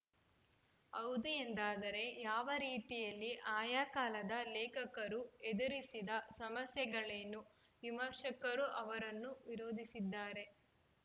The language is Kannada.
ಹೌದು ಎಂದಾದರೆ ಯಾವ ರೀತಿಯಲ್ಲಿ ಆಯಾ ಕಾಲದ ಲೇಖಕರು ಎದುರಿಸಿದ ಸಮಸ್ಯೆಗಳೇನು ವಿಮರ್ಶಕರು ಅವರನ್ನು ವಿರೋಧಿಸಿದರೆ